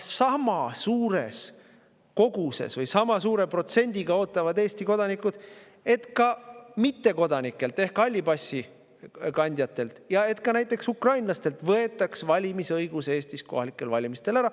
Aga sama suur protsent Eesti kodanikke ootab, et ka mittekodanikelt ehk halli passi kandjatelt ja ka näiteks ukrainlastelt võetaks valimisõigus Eestis kohalikel valimistel ära.